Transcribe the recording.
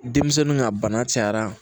Denmisɛnninw ka bana cayara